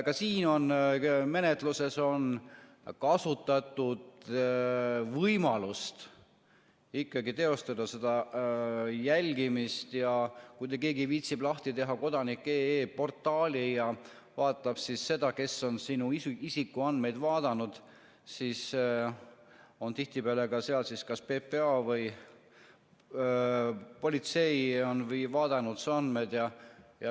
Ka siin on menetluses kasutatud võimalust ikkagi teostada seda jälgimist, ja kui keegi viitsib lahti teha kodanik.ee portaali ja vaatab, kes on sinu isikuandmeid vaadanud, siis on tihtipeale seal siis kas PPA või politsei, kes on vaadanud su andmeid.